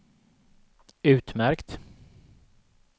utmärkt